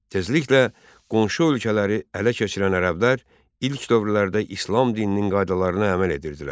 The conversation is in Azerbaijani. Tezliklə qonşu ölkələri ələ keçirən ərəblər ilk dövrlərdə İslam dininin qaydalarına əməl edirdilər.